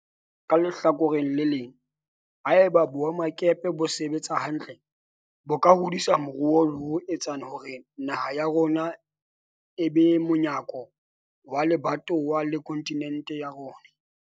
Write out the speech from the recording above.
Ka lehlakoreng le leng, ha eba boemakepe bo sebetsa hantle bo ka hodisa moruo le ho etsa hore naha ya rona e be monyako wa lebatowa le kontinente ya rona.